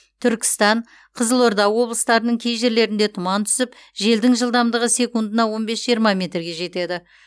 түркістан қызылорда облыстарының кей жерлерінде тұман түсіп желдің жылдамдығы секундына он бес жиырма метрге жетеді